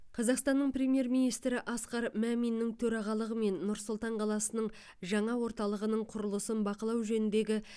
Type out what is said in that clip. қазақстанның премьер министрі асқар маминнің төрағалығымен нұр сұлтан қаласының жаңа орталығының құрылысын бақылау жөніндегі